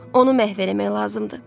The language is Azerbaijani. Onu məhv eləmək lazımdır.